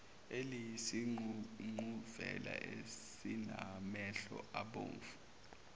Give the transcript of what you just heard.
eliyisiququvela esinamehlo abomvu